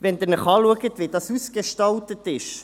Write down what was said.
Betrachten Sie, wie das Wyss Centre ausgestaltet ist: